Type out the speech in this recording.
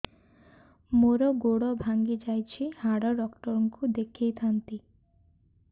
ମୋର ଗୋଡ ଭାଙ୍ଗି ଯାଇଛି ହାଡ ଡକ୍ଟର ଙ୍କୁ ଦେଖେଇ ଥାନ୍ତି